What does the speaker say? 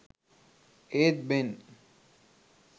ඒත් බෙන්